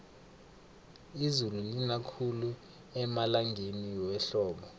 izulu lina khulu emalangeni wehlobo